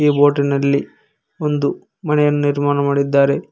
ಬೋಟಿನಲ್ಲಿ ಒಂದು ಮನೆಯನ್ನು ನಿರ್ಮಾಣ ಮಾಡಿದ್ದಾರೆ.